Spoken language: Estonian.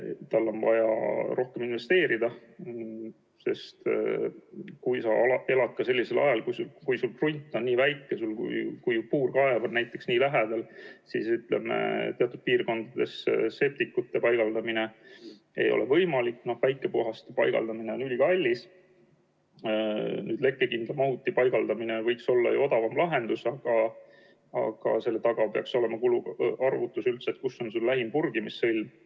Tal on vaja rohkem investeerida, sest kui sa elad sellisel alal ja kui su krunt on väike, kui puurkaev on lähedal, siis teatud piirkondades septikute paigaldamine ei ole võimalik, väikepuhasti paigaldamine on ülikallis, lekkekindla mahuti paigaldamine võiks olla odavam lahendus, aga selle taga peaks olema kuluarvutus, kus on lähim purgimissõlm ja kas piirkonnas on olemas tehnika ja ettevõte, kes seda teenust pakub.